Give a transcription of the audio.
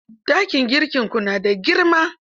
Dakin girkinku na da girma?